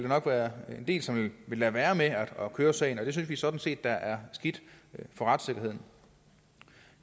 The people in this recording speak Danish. nok være en del som vil lade være med at køre sagen og det synes vi sådan set er skidt for retssikkerheden